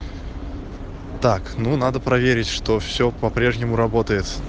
так ну надо проверить что все по-прежнему работает